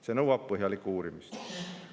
See nõuab põhjalikku uurimist.